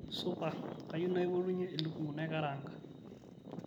supa kayieu naipotunye elukunku naikaraanga